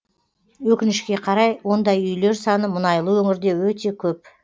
өкінішке қарай ондай үйлер саны мұнайлы өңірде өте көп